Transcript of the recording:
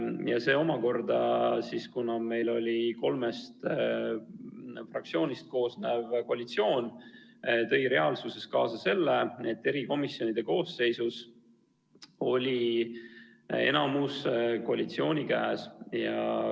Ja see omakorda, kuna meil oli kolmest fraktsioonist koosnev koalitsioon, tõi reaalsuses kaasa selle, et erikomisjonide koosseisus oli enamus koalitsiooni käes.